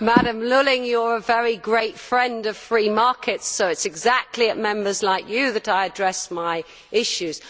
Mrs Lulling, you are a very great friend of free markets, so it is exactly to Members like you that I address my issues.